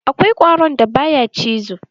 Akwai ƙwaron da ba ya cizo?